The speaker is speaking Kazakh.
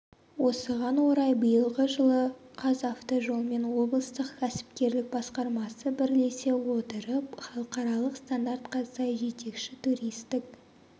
осыған орай биылғы жылы қазавтожолмен облыстық кәсіпкерлік басқармасы бірлесе отырып халықаралық стандартқа сай жетекші туристік